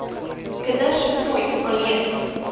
kinders nooit alleen